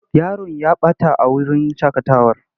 Yaron ya ɓata a wurin shaƙatawar.